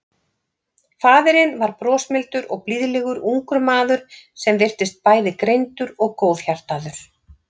Faðirinn var brosmildur og blíðlegur ungur maður sem virtist bæði greindur og góðhjartaður.